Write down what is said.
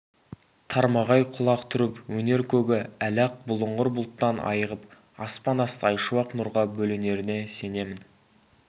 тармағай құлақ түріп өнер көгі әлі-ақ бұлыңғыр бұлттан айығып аспан асты айшуақ нұрға бөленеріне сенемін